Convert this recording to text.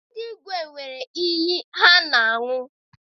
Ndị igwe nwere iyi ha na- aṅụ.